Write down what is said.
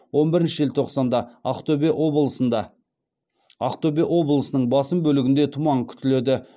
он бірінші желтоқсанда ақтөбе облысының басым бөлігінде тұман күтіледі